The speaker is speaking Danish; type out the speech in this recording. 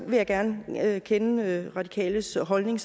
vil jeg gerne kende radikales holdning